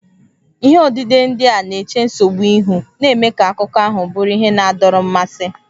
Ihe odide ndị a na-eche nsogbu ihu, na-eme ka akụkọ ahụ bụrụ ihe na-adọrọ mmasị.